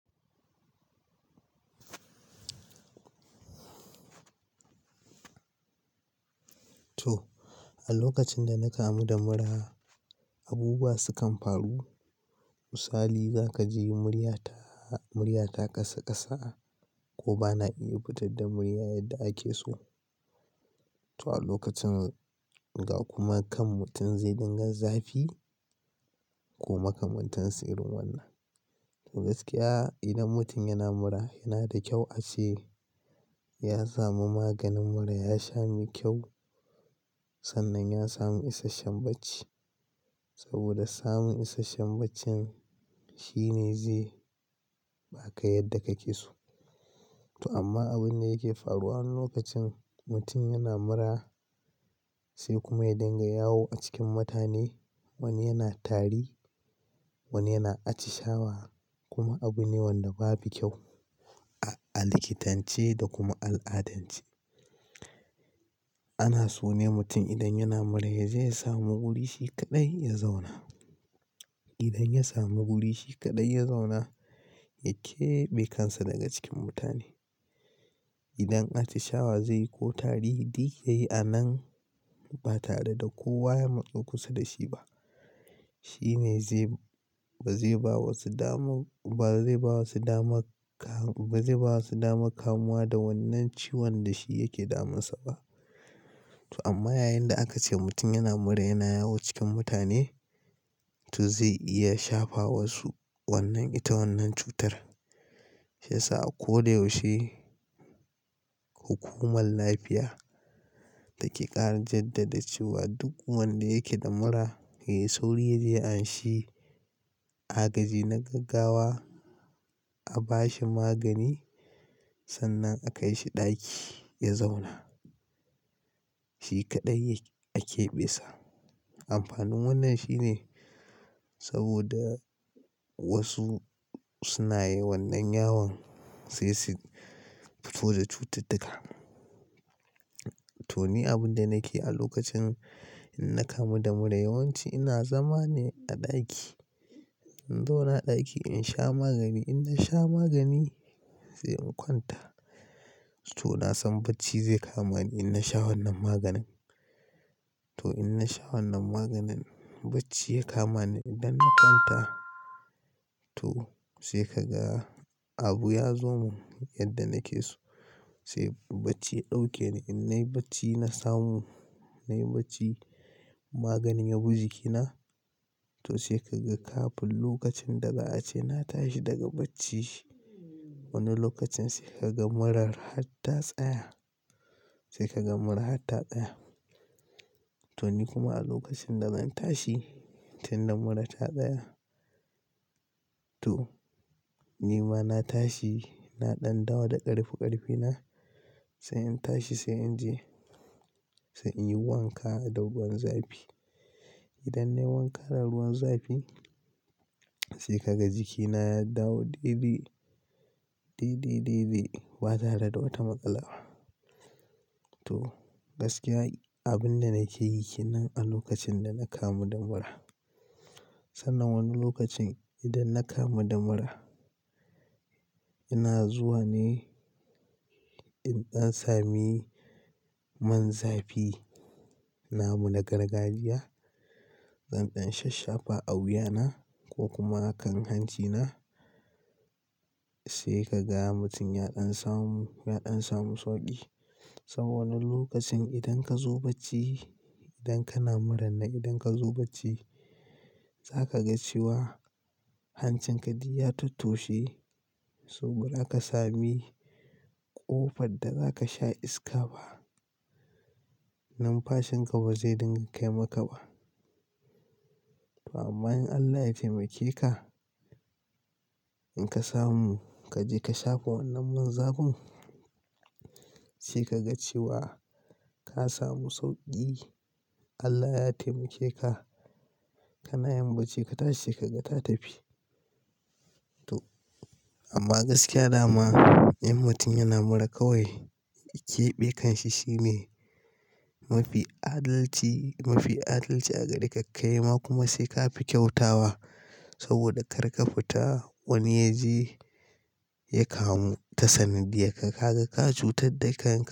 To, a lokacin da na kamu da mura, abubuwa sukan faru. Misali, za ka je murya ta, murya ta kasa kasa ko ba na iya fita da murya yadda ake so. To a lokacin ga kuma kan mutum zai dinga zafi ko makamantansa irin wannan. Gaskiya idan mutum yana mura yana da kyau a ce ya samu maganin mura, ya sha mai kyau, sannan ya samu isasshen bacci. Saboda samu isasshen bacci shine zai baka yadda ka ke so. To amma abun da yake faruwa lokacin mutum yana mura sai kuma ya dinga yawo a cikin mutane. Wani yana tari, wani yana atishawa kuma abu ne wanda babu kyau a, a likitance da kuma al'adance. Ana so ne mutum idan yana mura yaje ya samu wurin shi kaɗai ya zauna. Idan ya samu wurin shi kaɗai ya zauna, ya keɓe kansa daga cikin mutane. Idan atishawa zai yi ko tari, duk yayi a nan ba tare da kowa ya matsa kusa da shi ba. Shine, ba zai bawa su dama, su kamu da wannan ciwon da shi yake damun sa ba. To amma yayin da aka ce mutum yana mura yana yawo cikin mutane, to zai iya shafa wasu wannan ita wannan cutar. Sai sa a ko da yaushe hukumar lafiya take ƙara jaddada cewa duk wanda yake da mura, sai sauri yaje anshi a gaji na gaggawa, a bashi magani sannan a kai shi ɗaki ya zauna. Shi kaɗai ake be sa. Amfanin wannan shine saboda wasu suna yi wannan yawan sai su fito da cututtuka. To ni abin da nake a lokacin in na kamu da mura yawanci ina zama ne a ɗaki. In zauna a ɗaki in sha magani. In na sha magani sai in kwanta. To na san bacci zai kama ni in na sha wannan maganin. To in na sha wannan maganin bacci ya kama ni. Idan na kwanta to sai ka ga abu ya zo mun yadda nake so. Sai bacci ɗauke ni. In na yi bacci na samu, na yi bacci magani ya bi jikina. To sai ka ga kafin lokacin daga ace na tashi daga bacci. Wani lokacin sai ka ga murar har ta tsaya. Sai ka ga mura har ta tsaya. To ni kuma a lokacin da zan tashi tunda mura ta tsaya. To ni ma na tashi, na ɗan dawo da ƙarfi ƙarfina. Sai in tashi sai in je, sai in yi wanka a da ruwan zafi. Idan na yi wanka da ruwan zafi sai ka ga jiki na ya dawo dai dai, ba tare da wata matsala ba. To gaskiya abin da nake yi ke nan a lokacin da na kamu da mura. Sannan wani lokacin idan na kamu da mura ina zuwa ne in ɗan sami man zafi namu na gargajiya, zan ɗan shasshafa a wuya na ko kuma a kan hanci na. Sai ka ga mutum ya ɗan samu, ya ɗan samu sauƙi. Saboda wani lokacin idan ka zo bacci, idan kana mura nan idan ka zo bacci za ka ga cewa hancin ka duk ya tattoshe. Saboda aka sami ƙofar da za ka sha iska ba. Numfashin ka ba zai dinga kai maka ba. To amma in Allah ya taimake ka, in ka samu ka je ka shafa wannan man zafin sai ka ga cewa ka samu sauƙi. Allah ya taimake ka. Kana yin bacci ka tashi sai ka ga ta tafi. To amma gaskiya dama in mutum yana mura kawai keɓe kanshi shine mafi adalci, a gare ka kai ma kuma sai ka fi kyautawa. Saboda kar ka fita wani ya je ya kamu ta sanadiyar ka. Kaga ka cutar da shi.